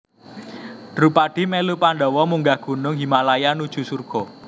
Drupadi melu Pandhawa munggah gunung Himalaya nuju surga